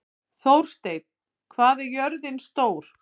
Þórsteinn, hvað er jörðin stór?